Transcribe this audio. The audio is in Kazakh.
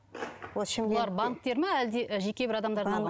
ол бұлар банктер ма әлде жеке бір адамдар ма